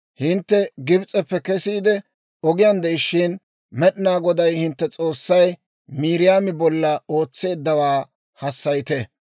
Hintte Gibs'eppe kesiide ogiyaan de'ishshin, Med'inaa Goday hintte S'oossay Miiriyaami bolla ootseeddawaa hassayite.